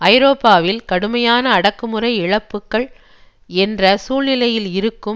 ஐரோப்பாவில் கடுமையான அடக்குமுறை இழப்புக்கள் என்ற சூழ்நிலையில் இருக்கும்